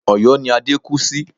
Ọ̀̀yọ́ ni Adé kú sí